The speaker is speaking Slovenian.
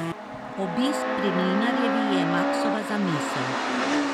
Obisk pri Mlinarjevi je Maksova zamisel.